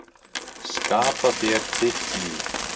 Skapa þér þitt líf.